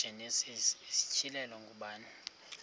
igenesis isityhilelo ngubani